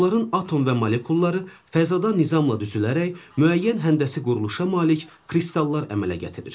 Onların atom və molekulları fəzada nizamla düzülərək müəyyən həndəsi quruluşa malik kristallar əmələ gətirir.